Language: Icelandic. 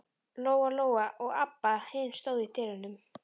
Lóa Lóa og Abba hin stóðu í dyrunum.